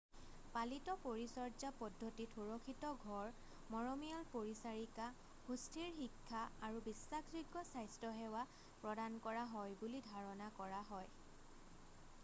পালিত পৰিচৰ্যা পদ্ধতিত সুৰক্ষিত ঘৰ মৰমিয়াল পৰিচাৰিকা সুস্থিৰ শিক্ষা আৰু বিশ্বাসযোগ্য স্বাস্থ্য সেৱা প্ৰদান কৰা হয় বুলি ধাৰণা কৰা হয়